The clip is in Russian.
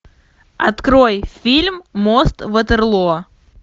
открой фильм мост ватерлоо